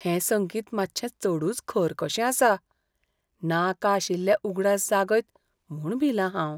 हें संगीत मातशें चडूच खर कशें आसा, नाका आशिल्ले उगडास जागयत म्हूण भिलां हांव.